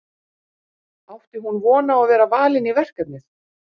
Átti hún von á að vera valin í verkefnið?